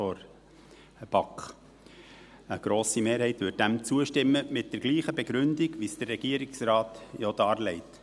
Eine grosse Mehrheit würde dem mit der gleichen Begründung zustimmen, wie sie der Regierungsrat darlegt.